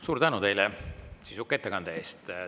Suur tänu teile sisuka ettekande eest!